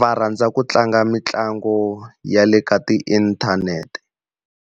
va rhandza ku tlanga mitlangu ya le ka tiinthanete.